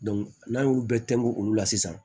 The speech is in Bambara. n'an y'olu bɛɛ tɛnku olu la sisan